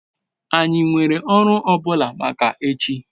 anyi nwere oru o bula maka echi? )